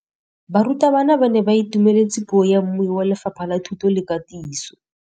Barutabana ba ne ba itumeletse puô ya mmui wa Lefapha la Thuto le Katiso.